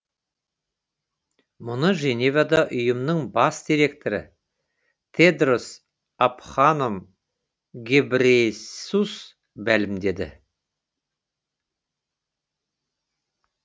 мұны женевада ұйымның бас директоры тедрос абханом гебрейесус мәлімдеді